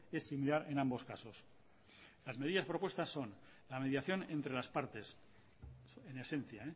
es similar en ambos casos las medidas propuestas son la mediación entre las partes en esencia